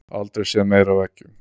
Aldrei séð meira af eggjum